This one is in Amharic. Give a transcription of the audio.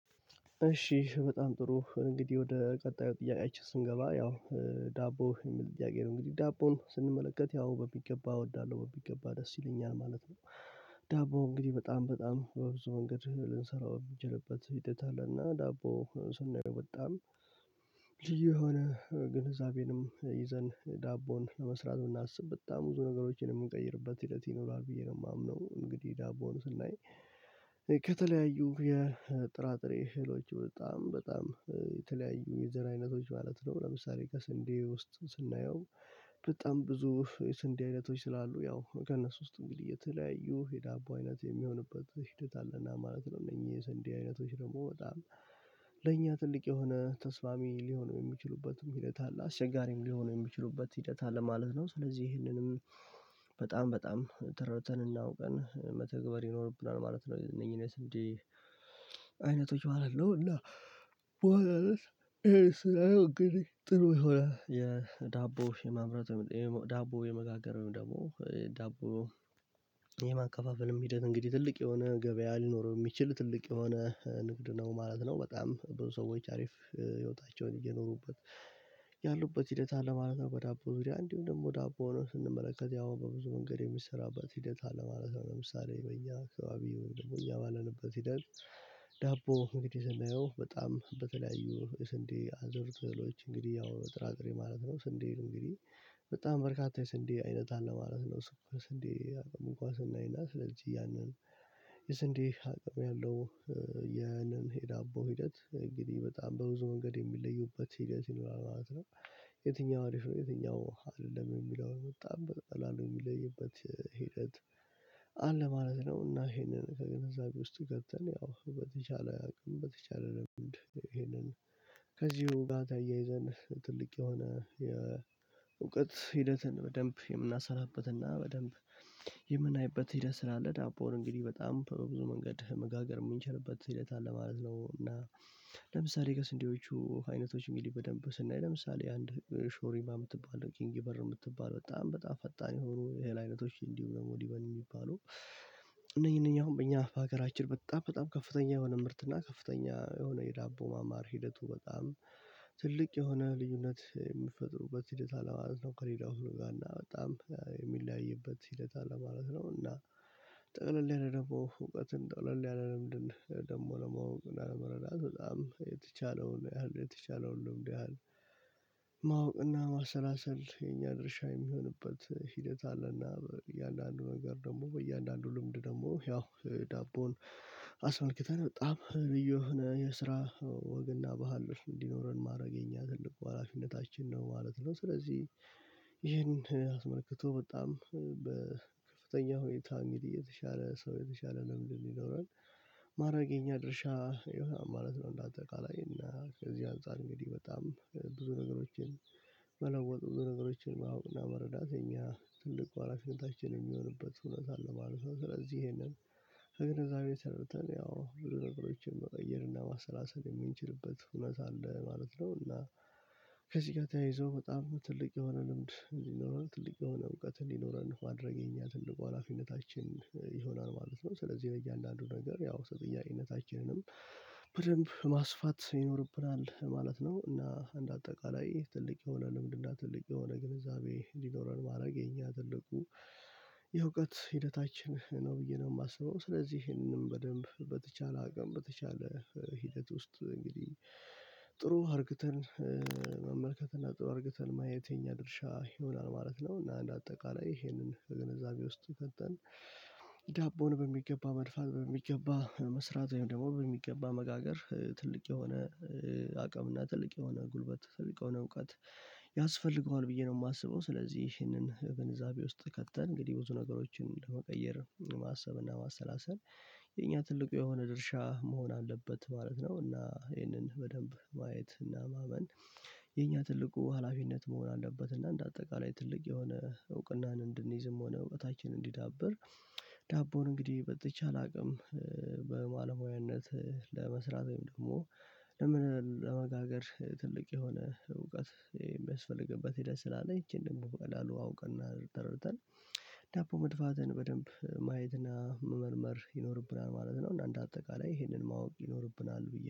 እሺ በጣም ጥሩ እንግዲህ ወደ ቀጣዩ ጥያቄአችን ስንገባ ያው ዳቦ የሚል ጥያቄ ነው እንግዲህ ዳቦን ስንመለከት ያው በሚገባ እወዳለሁ በሚገባ ደስ ይለኛል ማለት ነው። ዳቦ እንግዲህ በጣም በጣም በብዙ መንገድ ልንሰራው የምንችልበት ሂደት አለና ዳቦ ስናየው በጣም ልዩ የሆነ ግንዛቤንም ይዘን ዳቦን ለመስራት የምናስብ በጣም ብዙ ነገሮችን የምንቀይርበት ሂደት ይኖራል ብየ ነው። ማምነው እንግዲህ ዳቦን ስናይ ከተለያዩ የጥራጥሬ እህሎች በጣም በጣም የተለያዩ የዘር አይነቶች ማለት ነው ለምሳሌ ከስንዴ ውስጥ ስናየው። በጣም ብዙ የስንዴ አይነቶች ስላሉ ያው ከነሱ ውስጥ እንግዲህ የተለያዩ የዳቦ አይነት የሚሆንበት ሂደት አለና ማለት ነው እነኚህ የስንዴ አይነቶች ደግሞ በጣም ለእኛ ትልቅ የሆነ ተስማሚ ሊሆን የሚችሉበትም ሂደት አለ አስቸጋሪም ሊሆን የሚችሉበት ሂደት አለ ማለት ነው። ስለዚህ ይህንንም በጣም በጣም ተረድተን እና አውቀን መተግበር ይኖርብናል ማለት ነው። እነኚህን የስንዴ አይነቶች ማለት ነው እና በሆነ ርዕስ ይሄ ስራየ እንግዲህ ጥሩ ይሆናል የዳቦ የማምረት ዳቦ የመጋገር ወይም ደግሞ ዳቦ የማካፋፈልም ሂደት እንግዲህ ትልቅ የሆነ ገበያ አልኖርም የሚችል ትልቅ የሆነ ንግድ ነው ማለት ነው። በጣም ብዙ ሰዎች አሪፍ ህይወታቸውን እየኖሩበት ያሉበት ሂደት አለ ማለት ነው። በዳቦ ዙሪያ እንዲሁም ደግሞ ዳቦን ሆኖ ስንመለከት ያው በብዙ መንገድ የሚሰራበት ሂደት አለማለት ነው። ለምሳሌ በእኛ አካባቢው ወይም ደግሞ እኛ ባለንበት ይደል ዳቦ እንግዲህ ስናየው በጣም በተለያዩ ስንዴ አዘር ትህሎች እንግዲህ ያው ጥራጥሬ ማለት ነው። ስንዴን እንግዲህ በጣም በርካታ የስንዴ አይነት አለ ማለት ነው። ስንዴ እንኳን ስናይና ስለልጄ ያንን የስንዴ አቅም ያለው ያንን የዳቦ ሂደት እንግዲህ በጣም በብዙ መንገድ የሚለዩበት ሂደት ይኖራል ማለት ነው። የትኛው አሪፍ ነው የትኛው አይደለም የሚለውን በጣም በጣም በቀላሉሉ የሚለይበት ሂደት አለ ማለት ነው። እና ይሄንን ከገንዘቤ ውስጥ አስገብተን ያው በተቻለ አቅም በተቻለ ልምድ ይሄንን ከዚሁ ጋ አያይዘን ትልቅ የሆነ የእውቀት ሂደትን በደንብ የምናሰራበትና በደንብ የምናይበት ሂደት ስላለ ዳቦን እንግዲህ በጣም በብዙ መንገድ መጋገር የምንችልበት ሂደት አለ ማለት ነው። እና ለምሳሌ ከስንዴዎቹ አይነቶች በደንብ ስናይ ለምሳሌ አንድ ሾሪማ የምትባለው ኪንግ በር የምትባለው በጣም በጣም ፈጣን የሆኑ የእህል አይነቶች እንዲሁ ደግሞ ዲበን የሚባሉ እነኚህ እነኚህ አሁን በእኛ በሀገራችን በጣም በጣም ከፍተኛ የሆነ ምርት እና ከፍተኛ የሆነ የዳቦ ማማር ሂደቱ በጣም ትልቅ የሆነ ልዩነት የምትፈጥሩበት ሂደት አለ ማለት ነው። ከሌላው ጋር እና በጣም የሚለያይበት ሂደት አለ ማለት ነው። እና ጠቅለል ያለ ደግሞ እውቀትን ጠቅለል ያለ ልምድን ደግሞ ለማወቅ ለመረዳት በጣም የተቻለውን ያህል የተቻለውን ልምድ ያህል ማወቅና ማሰላሰል የኛ ድርሻ የሚሆንበት ሂደት አለና እያንዳንዱ ነገር ደግሞ በእያንዳንዱ ልምድ ደግሞ ያው ዳቦን አስመልክተን በጣም ልዩ የሆነ የስራ ወግ እና ባህል እንዲኖረን ማረግ የኛ ትልቁ ሀላፊነታችን ነው ማለት ነው። ስለዚህ ይህንን አስመልክቶ በጣም በከፍተኛ ሁኔታ እንግዲህ የተሻለ ሰው የተሻለ ልምድ እንዲኖረን ማድረግ የኛ ድርሻ ይሆናል ማለት ነው። እንዳጠቃላይ እና ከዚህ አንፃር እንግዲህ በጣም ብዙ ነገሮችን መለወጥ ብዙ ነገሮችን ማወቅና መረዳት የኛ ትልቁ ሀላፊነታችን የሚሆንበት ሁነት አለ ማለት ነው። ስለዚህ ይሄንን ከግንዛቤ አስገብተን ያው ብዙ ነገሮችን መቀየርና ማሰላሰል የምንችልበት ሁነት አለ ማለት ነው። እና ከዚህ ጋር ተያይዞ በጣም ትልቅ የሆነ ልምድ እንዲኖረን ትልቅ የሆነ እውቀት እንዲኖረን ማድርግ የኛ ትልቁ ሀላፊነታችን ይሆናል ማለት ነው። ስለዚህ በእያንዳንዱ ነገር ያው ተጠያቂነታችንንም በደንብ ማስፋት ይኖርብናል ማለት ነው። እና አንድ አጠቃላይ ትልቅ የሆነ ልምድና ትልቅ የሆነ ግንዛቤ እንዲኖረን ማድረግ የኛ ትልቁ የእውቀት ሂደታችን ነው ብዬ ነው የማስበው። ስለዚህ ይህንንም በደንብ በተቻለ አቅም በተቻለ ሂደት ውስጥ እንግዲህ ጥሩ አድርግተን መመልከትና ጥሩ አድርግተን ማየት የኛ ድርሻ ይሆናል ማለት ነው። እና እንደ አጠቃላይ ይሄንን ከግነዛቤ ውስጥ ገብተን ዳቦን በሚገባ መድፋት በሚገባ መስራት ወይም ደግሞ በሚገባ መጋገር ትልቅ የሆነ አቅምና ትልቅ የሆነ ጉልበት ትልቅ ነው እውቀት ያስፈልገዋል ብዬ ነው የማስበው። ስለዚህ ይህንን ግንዛቤ ውስጥ ከተን እንግዲህ ብዙ ነገሮችን ለመቀየር ማሰብና ማሰላሰል የኛ ትልቁ የሆነ ድርሻ መሆን አለበት ማለት ነው። እና ይህንን በደንብ ማየት እና ማመን የኛ ትልቁ ሀላፊነት መሆን አለበት እና እንደ አጠቃላይ ትልቅ የሆነ እውቅናን እንድንይዝም ሆነ እውቀታችንን እንዲዳብር ዳቦን እንግዲህ በተቻለ አቅም በማለሙያነት ለመስራት ወይም ደግሞ ለመጋገር ትልቅ የሆነ እውቀት የሚያስፈልግበት ሂደት ስላለ ይቺን ደግሞ በቀላሉ አውቀና ተረድተን ዳቦ መድፋትን በደንብ ማየትና መመርመር ይኖርብናል ማለት ነው። እንደ አንድ አጠቃላይ ይሄንን ማወቅ ይኖርብናል ብዬ